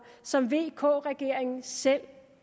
som vk regeringen selv